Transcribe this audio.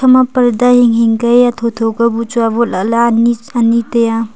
ama parda hing hing kaiya chu chu pua awot latla anyi anyi teya.